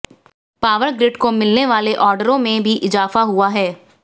power grid को मिलने वाले ऑर्डरों में भी इजाफा हुआ है